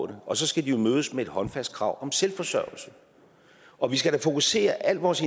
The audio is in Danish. det og så skal de jo mødes med et håndfast krav om selvforsørgelse og vi skal da fokusere al vores